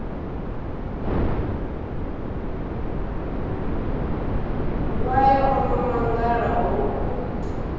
wayo o no mangala hoku